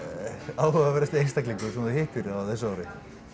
áhugaverðasti einstaklingur sem þú hittir á þessu ári